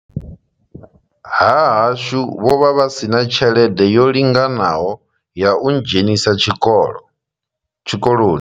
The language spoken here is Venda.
Ha hashu vho vha vha si na tshelede yo linganaho ya u ndzhenisa tshikolo tshikoloni.